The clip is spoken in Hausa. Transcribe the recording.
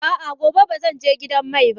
A'a, gobe ba zan je gidan mai ba.